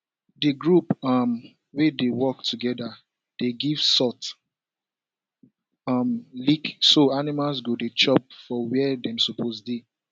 the group um wey dey work togeda give salt um lick so animals go dey chop for where dem suppose dey